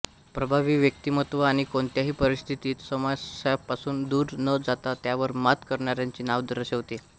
प्रभावी व्यक्तिमत्व आणि कोणत्याही परिस्थितीत समस्यांपासुन दूर न जाता त्यावर मात करणाऱ्यांचे नाव दर्शवते